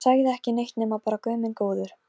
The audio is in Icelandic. Á ekki annarra kosta völ, fastur við hana.